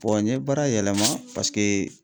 Bɔn n ye baara yɛlɛma paseke